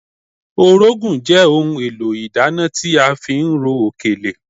Orógùn jẹ́ ohun èlò ìdáná tí a fi ń ro òkèlè